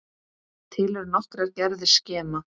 Til eru nokkrar gerðir skema.